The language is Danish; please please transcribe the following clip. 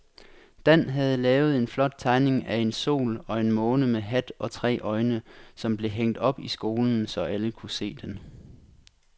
Dan havde lavet en flot tegning af en sol og en måne med hat og tre øjne, som blev hængt op i skolen, så alle kunne se den.